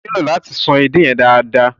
O nílò láti ṣan edé yẹn nù dáadaa.